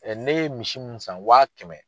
ne ye misi mun san wa kɛmɛ.